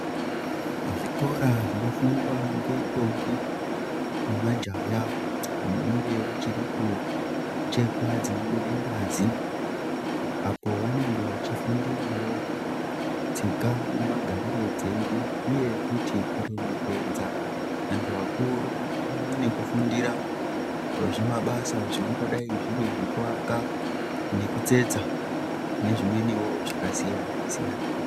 Zvikora zvinofundwa ngendombi nemajaya vanenge vachiri kuchekwa dzinobuda ngazi apo vanenge vachifundirawao tsika nemagariro edu uye kuremekedza vantu vakuru pamwe nekufundira zvimabasa zvingangodayi zviri zvekuaka nekutsetsa nezvimweniwo zvakasiyana siyana.